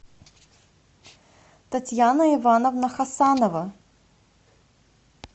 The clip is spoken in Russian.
татьяна ивановна хасанова